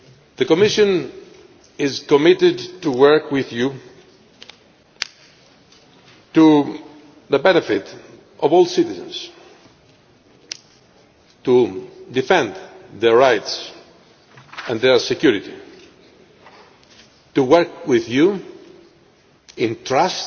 The Commission is committed to working with you for the benefit of all citizens, to defend their rights and their security, to work with you in trust